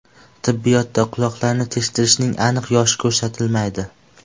Tibbiyotda quloqlarni teshdirishning aniq yoshi ko‘rsatilmaydi.